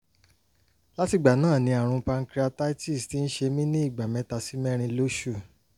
lati igba na ni arun pancreatitis ti n se mi niigba meta si merin losun